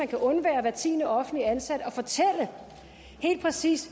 kan undvære hver tiende offentligt ansatte at fortælle helt præcist